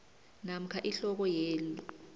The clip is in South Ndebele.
namkha ihloko yelu